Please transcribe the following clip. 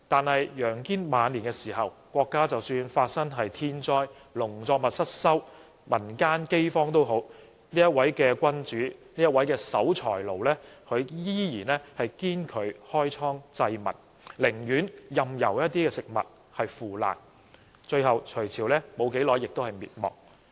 可是，在楊堅晚年時，即使國家發生天災，農作物失收，民間饑荒，但這位守財奴君主仍然堅拒開倉濟民，寧願任由食物腐爛，最後隋朝不久便滅亡。